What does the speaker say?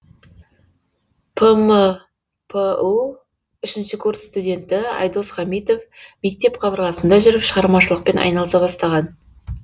пмпу үшінші курс студенті айдос хамитов мектеп қабырғасында жүріп шығармашылықпен айналыса бастаған